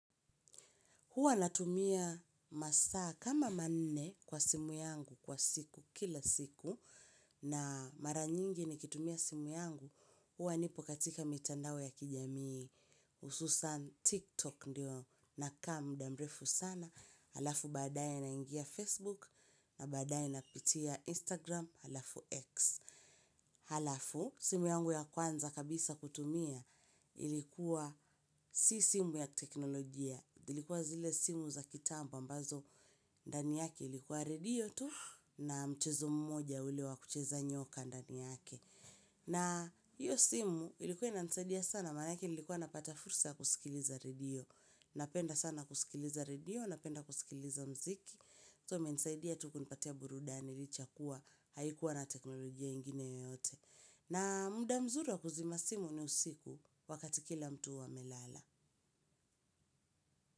Huwa natumia masaa kama manne kwa simu yangu kwa siku kila siku na mara nyingi nikitumia simu yangu. Huwa nipo katika mitandao ya kijamii ususan TikTok ndio nakaa mda mrefu sana. Halafu baadaye naingia Facebook na baadaye napitia Instagram halafu X. Halafu simu yangu ya kwanza kabisa kutumia ilikuwa si simu ya kiteknolojia. Ilikuwa zile simu za kitambo mbazo ndani yake ilikuwa radio tu na mchezo mmoja ule wa kucheza nyoka ndani yake. Na hiyo simu ilikuwa inanisaidia sana manake nilikuwa napata fursa ya kusikiliza radio. Napenda sana kusikiliza radio, napenda kusikiliza mziki. So mensaidia tu kunipatia burudani licha ya kuwa haikuwa na teknolojia ingine yoyote. Na muda mzuri wa kuzima simu ni usiku wakati kila mtu huwa amelala.